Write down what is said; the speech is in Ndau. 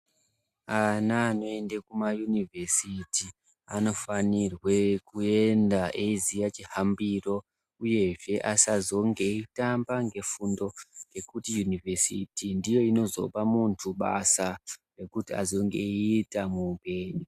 Ana anoenda kumaunivhesiti anofanirwa kuenda eiziya chihambiro. Uyezve asazonge eitamba ngefundo ngekuti univhesiti ndiyo inozopa muntu basa rekuti azenge eiita muupenyu.